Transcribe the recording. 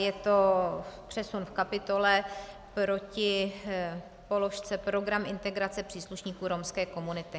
Je to přesun v kapitole proti položce program integrace příslušníků romské komunity.